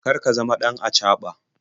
Kar ka zama ɗan acaɓa.